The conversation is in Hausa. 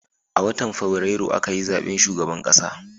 A watan fabrairu a ka yi zaben shugaban ƙasa